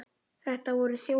Þetta voru þjófar!